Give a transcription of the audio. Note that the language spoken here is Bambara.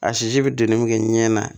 A sisi bɛ doni min kɛ ɲɛɲɛ na